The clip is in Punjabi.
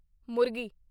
ਮੁਰਗੀ